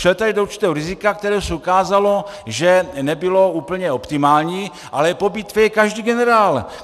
Šel tady do určitého rizika, které se ukázalo, že nebylo úplně optimální, ale po bitvě je každý generál!